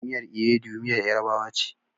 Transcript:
Miyar Iwedu miyar yarabawa ce.